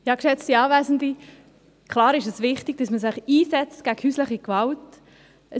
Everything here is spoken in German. Klar ist es wichtig, dass man sich gegen häusliche Gewalt einsetzt.